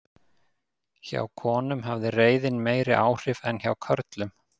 hjá konum hafði reiðin meiri áhrif en hjá körlum